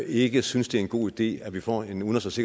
ikke synes det er en god idé at vi får en udenrigs